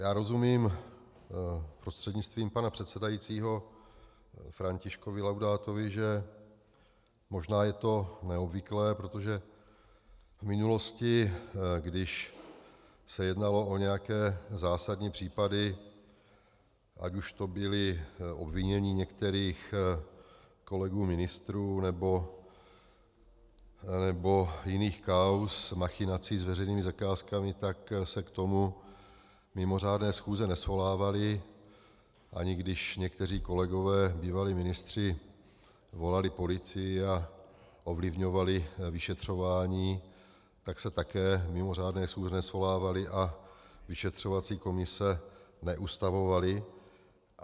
Já rozumím prostřednictvím pana předsedajícího Františkovi Laudátovi, že možná je to neobvyklé, protože v minulosti, když se jednalo o nějaké zásadní případy, ať už to byla obvinění některých kolegů ministrů, nebo jiných kauz machinací s veřejnými zakázkami, tak se k tomu mimořádné schůze nesvolávaly, ani když někteří kolegové, bývalí ministři, volali policii a ovlivňovali vyšetřování, tak se také mimořádné schůze nesvolávaly a vyšetřovací komise neustavovaly.